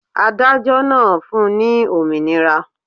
Adájọ́ náà fun ní òmìnira.